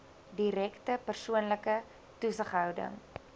direkte persoonlike toesighouding